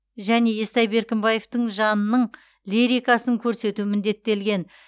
және естай беркімбаевтың жанының лирикасын көрсету міндеттелген